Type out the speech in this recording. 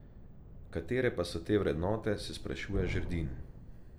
Katere pa so te vrednote, se sprašuje Žerdin.